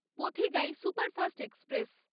Pothigai superfast express